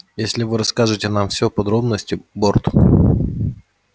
если вы расскажете нам всё подробности борт